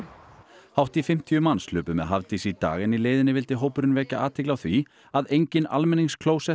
hátt í fimmtíu manns hlupu með Hafdísi í dag en í leiðinni vildi hópurinn vekja athygli á því að engin